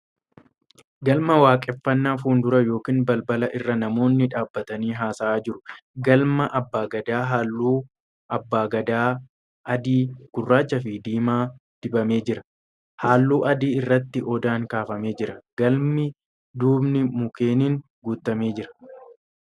Galma waaqeffannaa fuuldura yookan balbala irra namoonni dhaabbatanii haasa'aa jiru. Galmi abbaa gadaa halluu abbaa gadaa adii, gurraacha fi diimaa dibamee jira. Halluu adii irratti Odaan kaafamee jira. Galmi duubni mukkeeniin guutamee jira.